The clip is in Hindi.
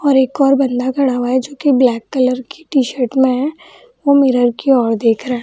और एक और बंदा खड़ा हुआ है जो कि ब्लैक कलर की टी-शर्ट में है वो मिरर की ओर देख रहा --